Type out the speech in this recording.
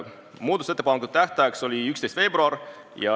Muudatusettepanekute esitamise tähtajaks oli 11. veebruar.